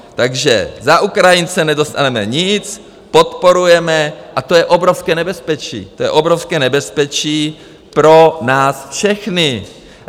Takže za Ukrajince nedostaneme nic, podporujeme, a to je obrovské nebezpečí, to je obrovské nebezpečí pro nás všechny.